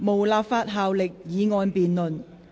無立法效力的議案辯論。